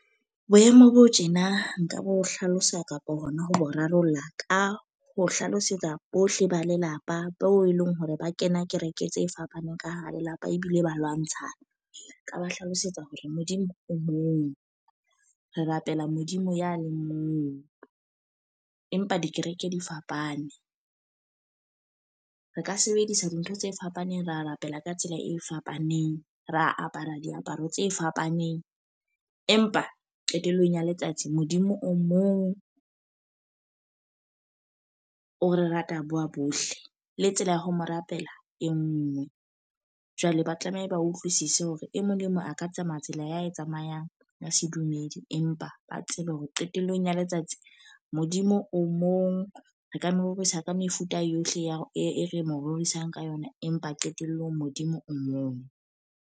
Boemo bo tjena nka bo hlalosa kapo hona ho rarolla, ka ho hlalosetsa bohle ba lelapa beo e leng hore ba kena kereke tse fapaneng ka hara lelapa ebile ba lwantshana. Ka ba hlalosetsa hore Modimo o mong, re rapela Modimo ya le mong empa dikereke di fapane. Re ka sebedisa dintho tse fapaneng ra rapela ka tsela e fapaneng, ra apara diaparo tse fapaneng. Empa qetellong ya letsatsi Modimo o mong, o re rata ba bohle. Le tsela ya ho mo rapela e nngwe. Jwale ba tlameha ba utlwisise hore e mong le mong a ka tsamaya tsela ya e tsamayang ya sedumedi, empa ba tsebe hore qetellong ya letsatsi Modimo o mong. Re ka mo rorisa ka mefuta yohle ya hore e re mo rorisang ka yona. Empa qetelllong Modimo o mong.